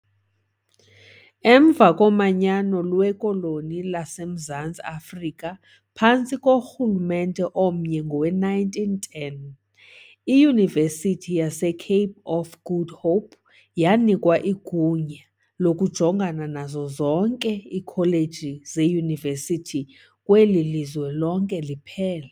Emva komanyano lweekoloni zasemZantsi Afrika, phantsi korhulumente omnye ngowe-1910, iYunivesithi yaseCape of Good Hope yanikwa igunya lokujongana nazo zonke iikholeji zeYunivesithi kwilizwe lonke liphela.